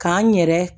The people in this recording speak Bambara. K'an yɛrɛ